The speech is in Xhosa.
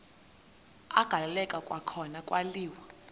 agaleleka kwakhona kwaliwa